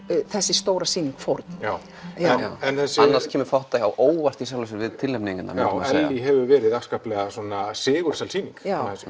þessi stóra sýning fórn já annars kemur fátt á óvart í sjálfu sér við tilnefningarnar já Ellý hefur verið afskaplega sigursæl sýning